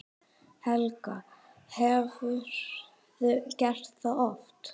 Helga: Hefurðu gert það oft?